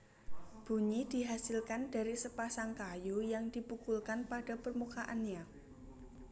Bunyi dihasilkan dari sepasang kayu yang dipukulkan pada permukaannya